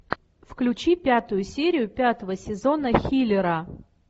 включи пятую серию пятого сезона хилера